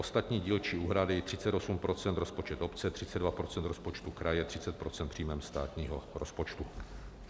Ostatní dílčí úhrady 38 % rozpočet obce, 32 % rozpočtu kraje, 30 % příjmem státního rozpočtu.